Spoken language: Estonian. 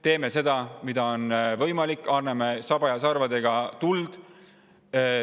Teeme seda, mida on võimalik teha, anname saba ja sarvedega tuld.